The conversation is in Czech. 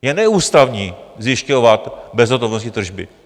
Je neústavní zjišťovat bezhotovostní tržby.